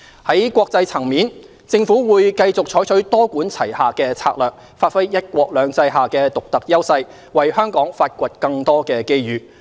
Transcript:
在國際層面，政府會繼續採取多管齊下的策略，發揮"一國兩制"下的獨特優勢，為香港發掘更多機遇。